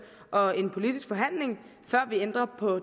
og en politisk forhandling før vi ændrer på